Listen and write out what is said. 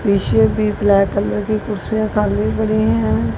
पीछे भी black colour की कुर्सियां खाली पड़ी हैं।